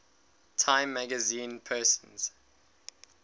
time magazine persons